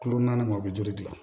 Kulo naani ma o bɛ joli dilan